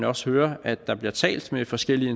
også høre at der bliver talt med forskellige